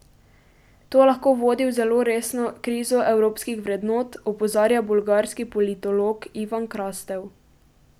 To lahko vodi v zelo resno krizo evropskih vrednot, opozarja bolgarski politolog Ivan Krastev.